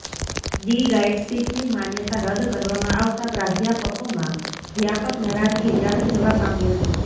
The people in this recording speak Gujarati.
ડી ગાઇડશીપની માન્યતા રદ કરવામાં આવતાં પ્રાધ્યાપકોમાં વ્યાપક નારાજગી વ્યાપી જવા પામી હતી